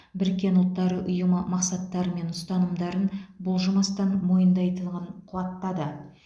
біріккен ұұлттар ұйымы мақсаттары мен ұстанымдарын бұлжымастан мойындайтындығын қуаттады